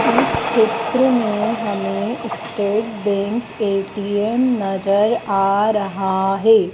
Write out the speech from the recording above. इस चित्र में हमें स्टेट बैंक ए_टी_एम नजर आ रहा है।